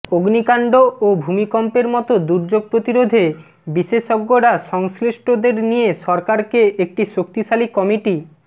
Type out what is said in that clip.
অগ্নিকাণ্ড ও ভূমিকম্পের মতো দুর্যোগ প্রতিরোধে বিশেষজ্ঞরা সংশ্লিষ্টদের নিয়ে সরকারকে একটি শক্তিশালী কমিটি